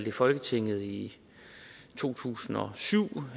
i folketinget i to tusind og syv